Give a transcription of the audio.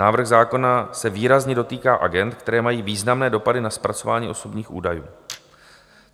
Návrh zákona se výrazně dotýká agend, které mají významné dopady na zpracování osobních údajů.